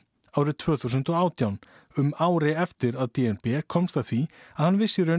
árið tvö þúsund og átján um ári eftir að d n b komst að því að hann vissi í raun